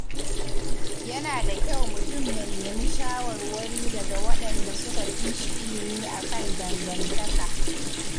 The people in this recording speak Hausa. Yana da kyau mutum ya nemi shawarwari daga waɗanda suka fi shi ilmi a kan dangantaka.